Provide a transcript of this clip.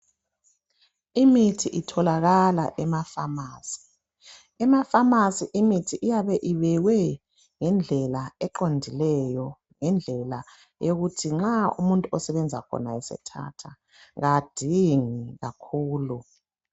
Imithi itholakala emafamasi, emafamasi imithi iyabe ibekwe ngedlela eqondileyo ngendlela eyokuthi nxa umuntu esebenza khona asethatha kadingi kakhulu.